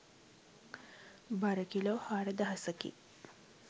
බර කිලෝ හාරදහසකි.